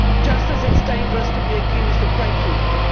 just as it is dangerous to be accused of breaking them.